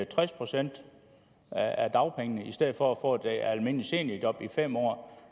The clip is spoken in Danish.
tres procent af dagpengene i stedet for at få et almindeligt seniorjob i fem år